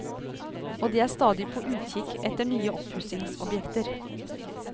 Og de er stadig på utkikk et nye oppussingsobjekter.